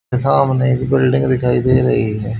सामने एक बिल्डिंग दिखाई दे रही है।